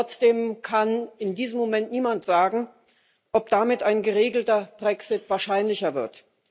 Und trotzdem kann in diesem Moment niemand sagen, ob damit ein geregelter Brexit wahrscheinlicher wird.